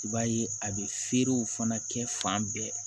I b'a ye a bɛ feerew fana kɛ fan bɛɛ